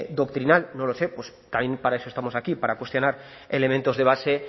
doctrinal no lo sé pues también para eso estamos aquí para cuestionar elementos de base